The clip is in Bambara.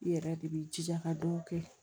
I yɛrɛ de b'i jija ka dɔw kɛ